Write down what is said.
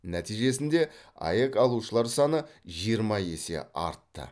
нәтижесінде аәк алушылар саны жиырма есе артты